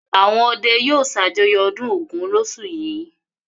Àwọn ọdẹ yóò ṣàjọyọ̀ ọdún Ògún lóṣù yìí.